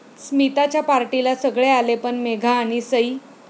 स्मिताच्या पार्टीला सगळे आले, पण मेघा आणि सई...